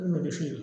U n'o de feere